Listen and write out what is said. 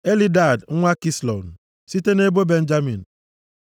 Elidad nwa Kislon, site nʼebo Benjamin.